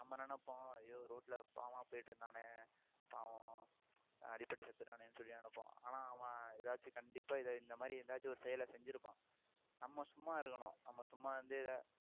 நம்ம நினைப்போம் ஐயோ ரோட்ல பாவமா போயிட்டிருந்தானே பாவம் அடிபட்டு செத்துட்டானேன்னு சொல்லி நினைப்போம் ஆனா அவன் ஏதாச்சும் கண்டிப்பா இதை இந்த மாதிரி ஏதாச்சும் ஒரு செயலை செஞ்சிருப்பான் நம்ம சும்மா இருக்கணும் நம்ம சும்மா வந்து இதை